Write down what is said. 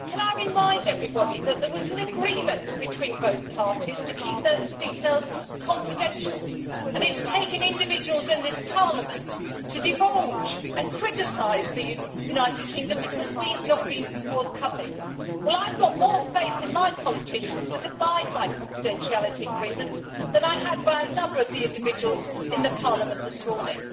Can I remind everybody that there was an agreement between both parties to keep those details confidential, and it has taken individuals in this Parliament to divulge them and to criticise the United Kingdom for not being forthcoming. Well I have got more faith in my politicians that abide by confidentiality agreements than I have in a number of the individuals in the Parliament this morning.